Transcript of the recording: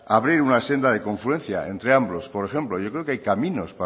abrir una senda de confluencia entre ambos por ejemplo yo creo que hay caminos